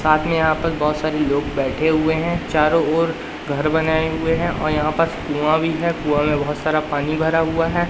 आगे यहां पर बहोत सारे लोग बैठे हुए हैं चारों ओर घर बनाए हुए हैं और यहां पास कुआ भी है कुआं में बहोत सारा पानी भरा हुआ है।